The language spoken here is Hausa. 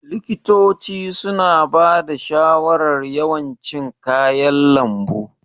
Likitoci suna bada shawarar yawan cin kayan lambu.